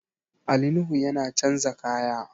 Ali Nuhu yana chanza kaya